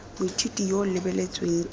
moithuti yo o lebeletsweng ke